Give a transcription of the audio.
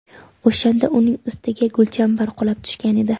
O‘shanda uning ustiga gulchambar qulab tushgan edi.